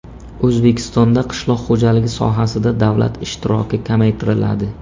O‘zbekistonda qishloq xo‘jaligi sohasida davlat ishtiroki kamaytiriladi.